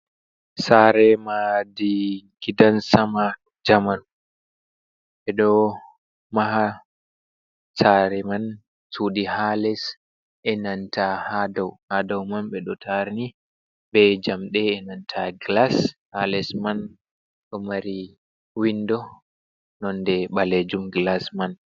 Saare madi gidan sama jamanu, ɓe ɗo maha saare man sudi ha les e nanta ha dau man, ɓe ɗo tarni be njamde e nanta glas. Ha les man do mari windo nonde balejum glas man.